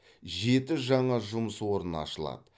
жеті жаңа жұмыс орны ашылады